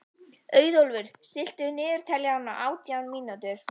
Auðólfur, stilltu niðurteljara á átján mínútur.